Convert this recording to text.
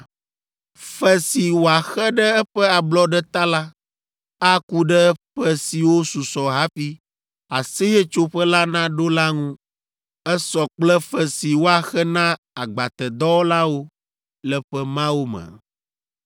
Fe si wòaxe ɖe eƒe ablɔɖe ta la, aku ɖe ƒe siwo susɔ hafi Aseyetsoƒe la naɖo la ŋu. Esɔ kple fe si woaxe na agbatedɔwɔlawo le ƒe mawo me.